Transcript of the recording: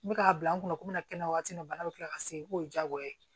N bɛ k'a bila n kunna komi n kɛnɛ waati bana bɛ kila ka segin k'o ye diyagoya ye